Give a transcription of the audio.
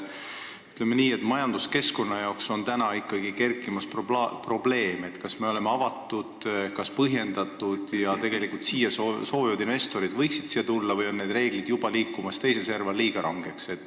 Ütleme nii, et üles on kerkimas probleem, kas meie majanduskeskkond on ikka avatud, kas investoritel oleks põhjust siia tulla või on sellekohased reeglid juba liikumas teise serva, muutudes liiga rangeks.